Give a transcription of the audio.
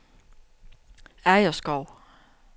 Agerskov